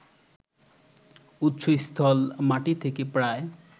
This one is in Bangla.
উৎসস্থল মাটি থেকে প্রায়